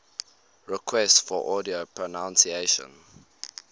requests for audio pronunciation